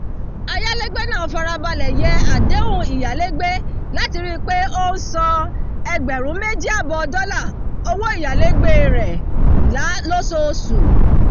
ayálégbé náà farabalẹ̀ yẹ àdéhùn ìyálégbé láti rí pé ó ń san ẹgbẹ̀rún méjì àbọ̀ dollar owó ìyálégbé rẹ̀ lóṣooṣù